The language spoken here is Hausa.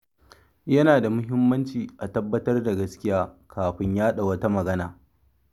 Yana da muhimmanci a tabbatar da gaskiya kafin yada wata magana.